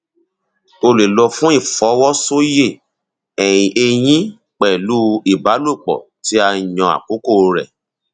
o lè lọ fún ìfọwọsoyè ẹyin pẹlú ìbálòpọ tí a yàn àkókò rẹ